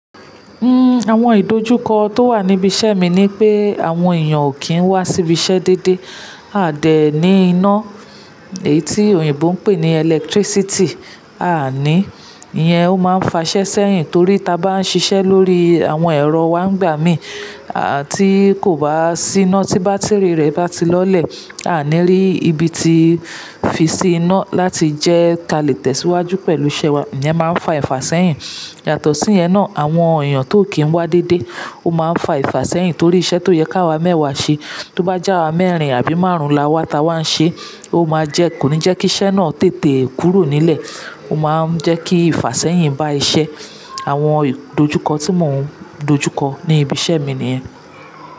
Uhm, àwọn ìdojúkọ tó wà níbi iṣẹ́ mi ni pé àwọn èèyàn ò kí ń wá sí ibiṣẹ́ dédé. Aà dẹ̀ ní iná, èyí tí òyìnbó ń pè ní electricity, aàní, ìyẹn ó máa ń fa iṣẹ́ sẹ́yìn torí tí a bá ń ṣiṣẹ́ lórí àwọn ẹ̀rọ wa ń gbà mí, à tí kò bá sí iná tí bátíìrì rẹ̀ bá ti lọlẹ̀, a ni rí ibi tí fi sí iná láti jẹ́ ka lè tẹ̀síwájú pẹ̀lú iṣẹ́ wa. Ìyẹn máa ń fa ìfasẹ̀yìn. Yàtọ̀ sí ìyẹn náà, àwọn èèyàn tió ò kí ń wá dédé ó máa ń fa ìfasẹ̀yìn torí iṣẹ́ tó yẹ ká wá mẹ́wàá ṣe, tó bá jẹ́ àwa mẹ́rin àbí márùn-ún la wá ta wá ń ṣe, ó máa jẹ́ kò ní jẹ́ kí iṣẹ́ náà tètè kúrò nílẹ̀. Ó máa ń jẹ́ kí ìfasẹ̀yìn bá iṣẹ́. Àwọn ìdojúkọ tí mò ń dojúkọ ní ibi iṣẹ́ mi nìyẹn.